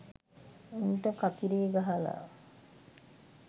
උන්ට කතිරේ ගහලා